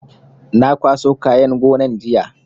Na kwaso kayan gonan jiya